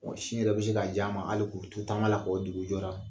Sin yɛrɛ bɛ se k'a j'a ma hali k'u to taama la ka wɔ dugu jɔra.